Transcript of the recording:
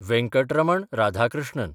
Venkataraman Radhakrishnan